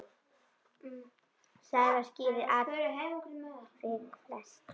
Saga skýrir atvik flest.